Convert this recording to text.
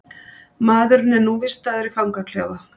Maðurinn er nú vistaður í fangaklefa